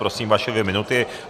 Prosím, vaše dvě minuty.